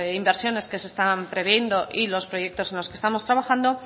inversiones que se están previendo y los proyectos en los que estamos trabajando